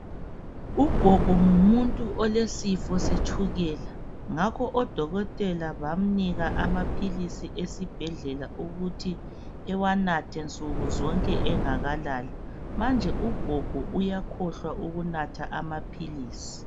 Ugogo ngumuntu olesifo setshukela ngakho odokotela bamnika amaphilisi esibhedlela ukuthi ewanathe nsuku zonke engakalali manje ugogo uyakhohlwa ukunatha amaphilisi.